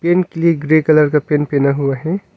Grey colour का pant पहना हुआ है।